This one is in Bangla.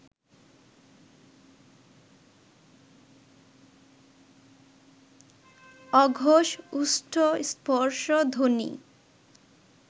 অঘোষ ওষ্ঠ্য স্পর্শধ্বনি